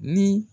Ni